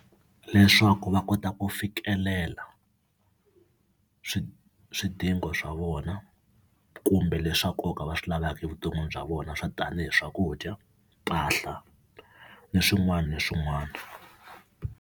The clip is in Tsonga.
Leswaku va kota ku fikelela swidingo swa vona kumbe leswa nkoka va swi lavaka evuton'wini bya vona swo tani hi swakudya, mpahla ni swin'wana na swin'wana.